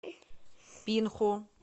пинху